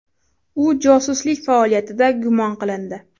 U josuslik faoliyatida gumon qilindi.